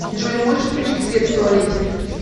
джой можешь включить свет в туалете